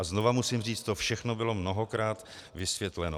A znova musím říct, to všechno bylo mnohokrát vysvětleno.